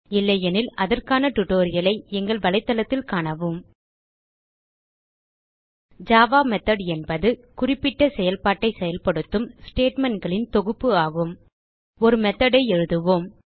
இல்லையெனில் அதற்கான டியூட்டோரியல் ஐ எங்கள் தளத்தில் காணவும் httpwwwspoken tutorialஆர்க் ஜாவா மெத்தோட் என்பது குறிப்பிட்ட செயல்பாட்டை செயல்படுத்தும் ஸ்டேட்மெண்ட் களின் தொகுப்பு ஆகும் ஒரு மெத்தோட் ஐ எழுதுவோம்